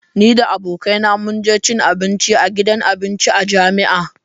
Ni da abokaina mun je cin abinci a gidan abinci a jami'a.